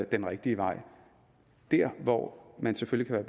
den rigtige vej der hvor man selvfølgelig kan